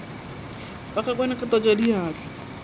ba ka kwana ka hlatswadiatla